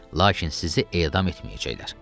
Lakin sizi edam etməyəcəklər.